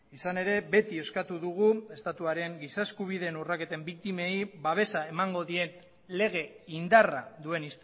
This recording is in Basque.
izan ere beti eskatu dugu estatuaren giza eskubideen urraketen biktimei babesa emango dien lege indarra duen